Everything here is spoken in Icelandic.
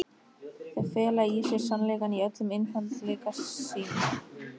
Þau fela í sér sannleikann í öllum einfaldleika sínum.